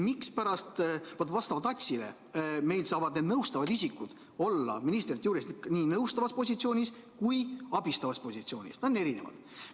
Vastavalt ATS-ile saavad nõustavad isikud olla ministri juures nii nõustavas positsioonis kui ka abistavas positsioonis, need on erinevad.